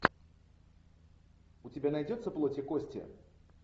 у тебя найдется плоть и кости